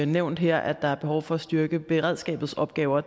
nævnt her at der er behov for at styrke beredskabets opgaver